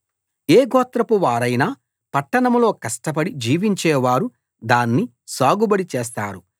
ఏ గోత్రపు వారైనా పట్టణంలో కష్టపడి జీవించేవారు దాన్ని సాగుబడి చేస్తారు